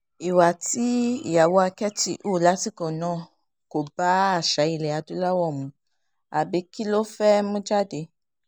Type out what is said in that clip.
ìwà tí ìyàwó àkẹ́tì hù lásìkò náà kò bá àṣà ilẹ̀ adúláwò mu àbí kí ló fẹ́ẹ̀ mú jáde